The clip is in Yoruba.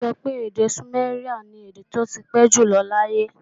A sọ pé èdè sùméríà ni èdè tí ó ti pé jù lọ láyé